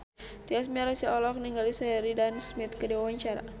Tyas Mirasih olohok ningali Sheridan Smith keur diwawancara